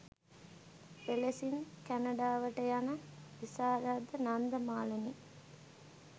එලෙසින් කැනඩාවට යන විශාරද නන්දා මාලනිය